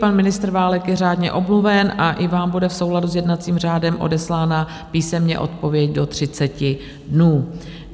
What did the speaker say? Pan ministr Válek je řádně omluven a i vám bude v souladu s jednacím řádem odeslána písemně odpověď do 30 dnů.